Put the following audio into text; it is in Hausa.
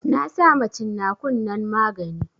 Na sama cin nakun nan magani